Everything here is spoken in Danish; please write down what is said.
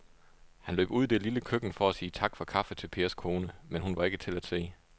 Han løb ud i det lille køkken for at sige tak for kaffe til Pers kone, men hun var ikke til at se.